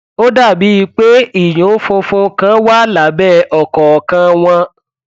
ó dàbíi pé ìyún funfun kan wà lábẹ ọkọọkan wọn